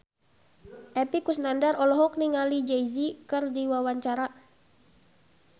Epy Kusnandar olohok ningali Jay Z keur diwawancara